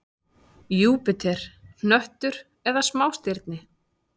Júpíter: hnöttur eða smástirni?